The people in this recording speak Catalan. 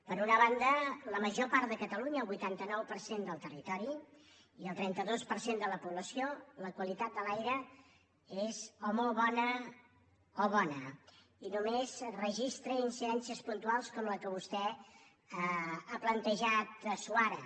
per una banda a la major part de catalunya el vuitanta nou per cent del territori i el trenta dos per cent de la població la qualitat de l’aire és o molt bona o bona i només registra incidències puntuals com la que vostè ha plantejat suara